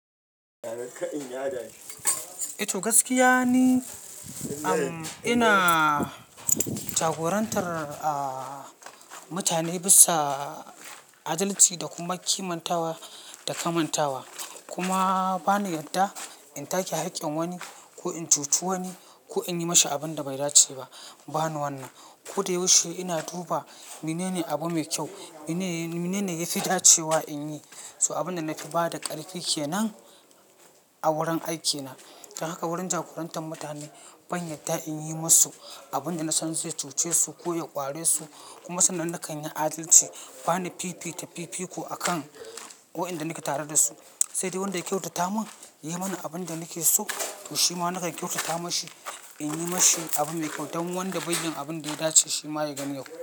Ito gaskiya ne, am ina jagorantar mutane bisa adalci da kuma kimantawa da kamantawa. Kuma ba ni yadda in take haƙƙin wani ko in cuce wani ko in yi mashi abin da bai dace ba. Ba ni wannan. Ko da yaushe ina duba menene abu mai kyau, menene, menene yafi dace wa in yi. So abin da na fi bada ƙarfi kenan a wurin aikina. Don haka wurin jagorantar mutane ban yadda in yi musu abin da na san zai cuce su ko ya ƙware su. Kuma sannan na kan yi adalci. Ba ni fifita fifiko akan wayanda nake tare da su. Sai dai wanda ya kyautata mun, ya yi mani abin da nake so shi ma nakan kyautata mashi in yi mashi abu mai kyau. Don wanda bai yi abin da ya dace shi ma ya gani yau.